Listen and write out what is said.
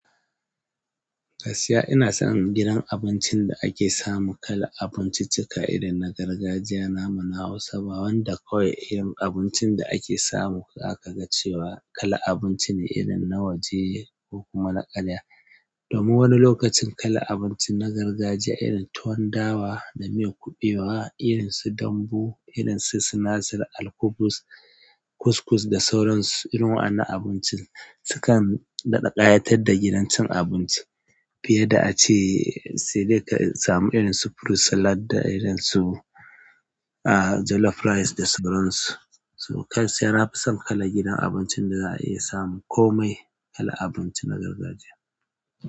Gaskiya ina son gidan abincin da ake samu kalan abinciccika irin na gargajiya naman Hausa. Ba wanda kawai irin abincin da ake samu aka ga cewa kala abinci ne irin na waje ko kuma na karya. Domin wani lokacin kala abincin na gargajiya irin tuwon dawa da miyar kuɓewa, irin su dambu, irin su sinasir, alkubus, kuskus da sauran su, irin wa'annan abincin sukan daɗa ƙayatar da gidan cin abinci. Fiye da a ce sai dai ka samu irin su fruit salad da irin su, ah, jollof rice da sauran su. So gaskiya na fi son kala gidan abincin da za a iya samu komai kala abinci na gargajiya.